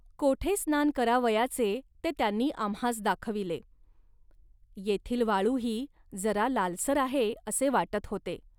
कोठे स्नान करावयाचे, ते त्यांनी आम्हास दाखविले. येथील वाळूही जरा लालसर आहे असे वाटत होते